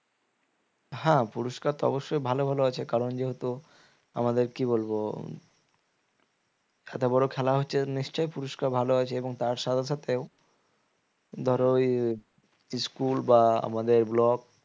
হ্যাঁ পুরস্কার তো অবশ্যই ভালো ভালো আছে কারণ যেহেতু আমাদের কি বলবো একটা বড় খেলা হচ্ছে নিশ্চয়ই পুরস্কার ভালো আছে এবং তার সাথে সাথেও ধরো ওই school বা আমাদের block